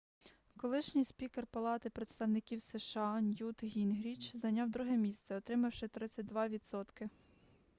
колишній спікер палати представників сша ньют гінгріч зайняв друге місце отримавши 32 відсотки